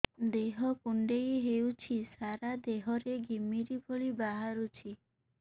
ଦେହ କୁଣ୍ଡେଇ ହେଉଛି ସାରା ଦେହ ରେ ଘିମିରି ଭଳି ବାହାରୁଛି